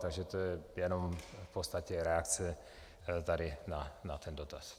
Takže to je jenom v podstatě reakce tady na ten dotaz.